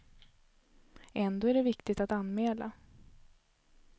Ändå är det viktigt att anmäla.